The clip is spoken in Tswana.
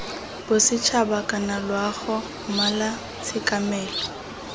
bosetšhaba kana loago mmala tshekamelo